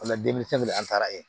denmisɛnnin an taara yen